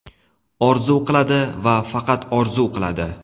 Orzu qiladi, va faqat orzu qiladi.